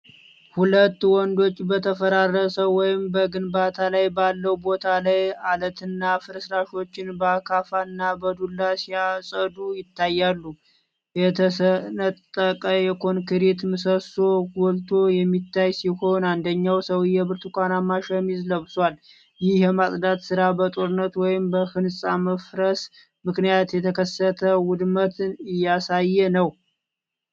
ሁለት ወንዶች በተፈራረሰ ወይም በግንባታ ላይ ባለው ቦታ ላይ አለትና ፍርስራሾችን በአካፋና በዱላ ሲያጸዱ ይታያሉ። የተሰነጠቀ የኮንክሪት ምሰሶ ጎልቶ የሚታይ ሲሆን፣ አንደኛው ሰውዬ ብርቱካናማ ሸሚዝ ለብሷል። ይህ የማጽዳት ሥራ በጦርነት ወይስ በህንጻ መፍረስ ምክንያት የተከሰተ ውድመትን እያሳየ ነው?